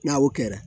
N'a o kɛra